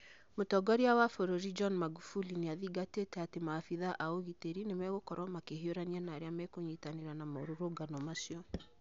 Mũtongoria wa bũrũri John Magufuli nĩathingatĩte atĩ maabithaa a ũgitĩri nĩmegũkorũo makĩhiũrania na arĩa mekũnyitanĩra na maũrũrũngano macio.